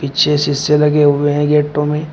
पीछे शीशे लगे हुए हैं गेटों में।